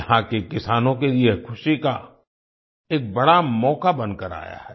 यहां के किसानों के लिए यह खुशी का एक बड़ा मौका बनकर आया है